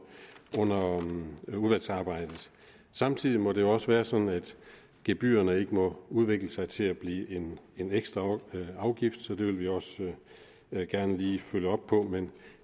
udvalgsarbejdet samtidig må det jo også være sådan at gebyrerne ikke må udvikle sig til at blive en en ekstra afgift og det vil vi også gerne lige følge op på men